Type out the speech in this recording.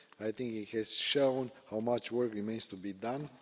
I think it has shown how much work remains to be done.